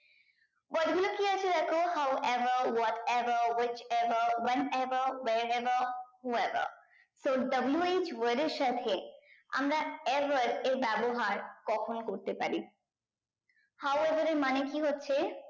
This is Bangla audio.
word গুলো কি আছে দেখো how above what above which above when above where above who above so W H word এর সাথে আমরা above এর ব্যবহার কখন করতে পারি how above এর মানে কি হচ্ছে